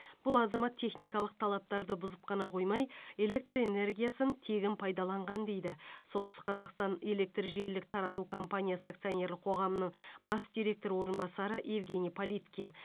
бұл азамат техникалық талаптарды бұзып қана қоймай электр энергиясын тегін пайдаланған дейді солтүстік қазақстан электржелілік тарату компаниясы акционерлік қоғамының бас директоры орынбасары евгений политкин